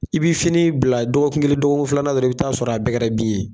I bɛ fini bila dɔgɔkun kelen dɔgɔkun filanan dɔrɔnw, i bɛ t'a sɔrɔ a bɛɛ kɛrɛ bin ye!